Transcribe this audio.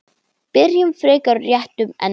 Byrjum frekar á réttum enda.